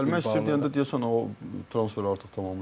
Gəlmək istəyir deyəndə deyəsən o transferi artıq tamamlayıblar.